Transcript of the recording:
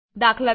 દાત